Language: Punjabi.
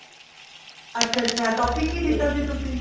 ਅੱਛਾ ਅੱਛਾ topic ਕੀ ਦਿੱਤਾ ਸੀ ਤੁਸੀਂ